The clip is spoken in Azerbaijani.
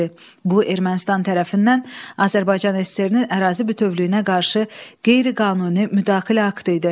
Bu Ermənistan tərəfindən Azərbaycan SSR-nin ərazi bütövlüyünə qarşı qeyri-qanuni müdaxilə aktı idi.